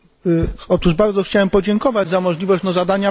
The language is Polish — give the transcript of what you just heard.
Bardzo chciałbym podziękować za możliwość zadania pytania.